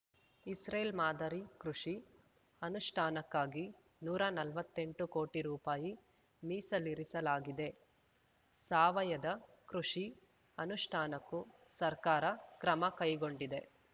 Israel ಮಾದರಿ ಕೃಷಿ ಅನುಷ್ಠಾನಕ್ಕಾಗಿ ನೂರಾ ನಲ್ವತ್ತೆಂಟು ಕೋಟಿ ರೂಪಾಯಿ ಮೀಸಲಿರಿಸಲಾಗಿದೆ ಸಾವಯದ ಕೃಷಿ ಅನುಷ್ಠಾನಕ್ಕೂ ಸರ್ಕಾರ ಕ್ರಮ ಕೈಗೊಂಡಿದೆ